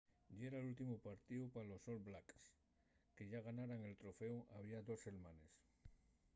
yera l’últimu partíu pa los all blacks que yá ganaran el troféu había dos selmanes